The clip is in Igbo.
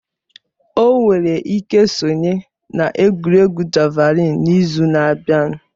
O nwere ike sonye na egwuregwu javalịn n'izu na-abịa